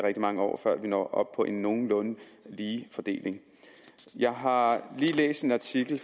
mange år før vi når op på en nogenlunde lige fordeling jeg har lige læst en artikel i